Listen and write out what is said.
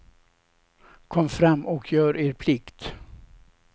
Kom fram och gör er plikt.